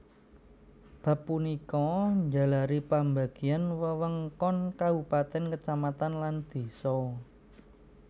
Bab punika njalari pambagian wewengkon kabupatèn kacamatan lan désa